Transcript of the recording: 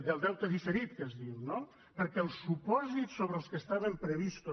del deute diferit que es diu no perquè el supòsit sobre el qual estaven previstos